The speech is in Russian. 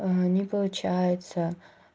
не получается